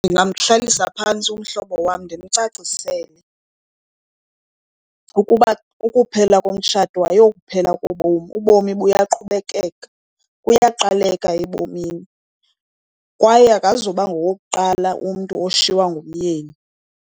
Ndingamhlalisa phantsi umhlobo wam ndimcacisele ukuba ukuphela komtshato ayokuphela kobomi, ubomi buyaqhubekeka. Kuyaqaleka ebomini kwaye akazuba ngowokuqala umntu oshiywa ngumyeni.